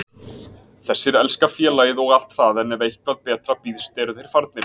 Þessir elska félagið og allt það en ef eitthvað betra býðst eru þeir farnir.